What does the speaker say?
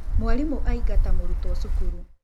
Mwarimũ aingata mũrutwo cukuru.